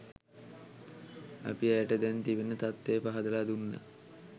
අපි ඇයට දැන් තිබෙන තත්වය පහදලා දුන්න.